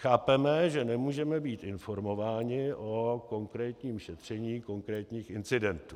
Chápeme, že nemůžeme být informováni o konkrétním šetření konkrétních incidentů.